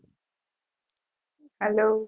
hello